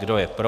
Kdo je pro.